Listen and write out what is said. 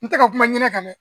N tɛ ka kuma ɲinɛ kan dɛ